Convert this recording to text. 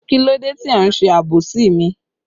Kílódé tí ẹ ń ṣe àbòsí mi?